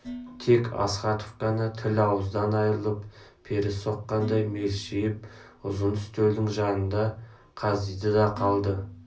тек астахов қана тіл-ауыздан айырылып пері соққандай мелшиіп ұзын үстелдің жанында қаздиды да қалды